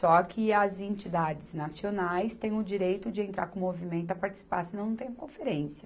Só que as entidades nacionais têm o direito de entrar com o movimento a participar, senão não tem conferência.